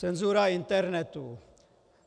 Cenzura internetu.